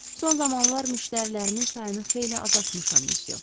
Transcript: Son zamanlar müştərilərimin sayını xeyli azaltmışam, Monsieur.